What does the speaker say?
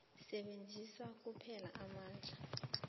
sebenzisa kuphela amandla